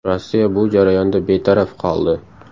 Rossiya bu jarayonda betaraf qoldi.